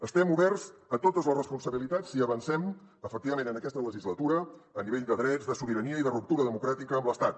estem oberts a totes les responsabilitats si avancem efectivament en aquesta legislatura a nivell de drets de sobirania i de ruptura democràtica amb l’estat